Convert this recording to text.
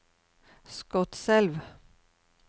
Skotselv